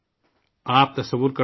آپ تصور کر سکتے ہیں